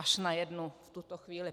Až na jednu v tuto chvíli.